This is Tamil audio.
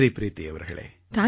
நன்றி ப்ரீதி அவர்களே